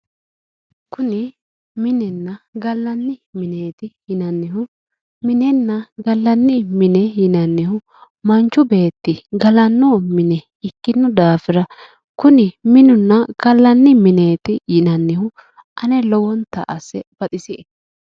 kuni minenna gallanni mineeti yinannihu minenna gallanni mine yinannihu manchu beeti galanno mine ikkino daafira kuni minunna gallanni mineeti yinannihu ane lowonta asse baxisie